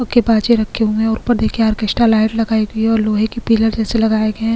बाजे रखे हुए है और ऊपर देखे आर्केस्टा लाइट लगायी गयी है और लोहे के पिलर जैसे लगाए गए है।